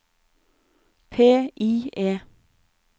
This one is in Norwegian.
PIE